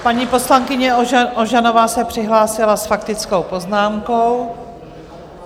Paní poslankyně Ožanová se přihlásila s faktickou poznámkou.